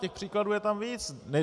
Těch příkladů je tam víc.